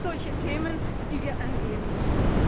Das sind solche Themen, die wir angehen müssen.